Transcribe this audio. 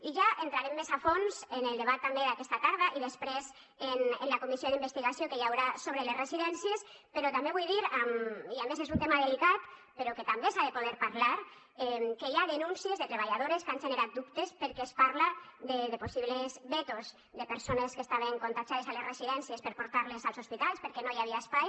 i ja hi entrarem més a fons en el debat també d’aquesta tarda i després en la comissió d’investigació que hi haurà sobre les residències però també vull dir i a més és un tema delicat però que també s’ha de poder parlar que hi ha denúncies de treballadores que han generat dubtes perquè es parla de possibles vetos de persones que estaven contagiades a les residències per portar les als hospitals perquè no hi havia espai